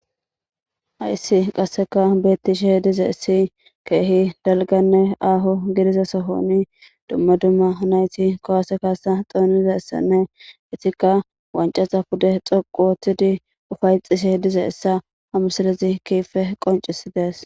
Hayisi qasekka betishe dizayisi kehi daligganne aho gidida sohoni dumma dumma nayiti kuwase kasa xonidayisanne eyitikka waniccaza pude dhoqu ooththidi upayetishshe dizayisa ha misilezi kehippe qonccisideessi